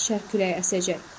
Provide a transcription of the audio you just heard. Şərq küləyi əsəcək.